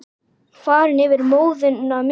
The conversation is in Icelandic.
Farin yfir móðuna miklu.